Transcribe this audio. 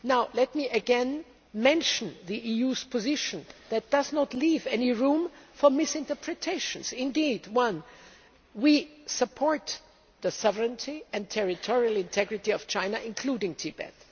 Let me again mention the EU's position, which does not leave any room for misinterpretation. Firstly, we support the sovereignty and territorial integrity of China, including Tibet.